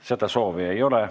Seda soovi ei ole.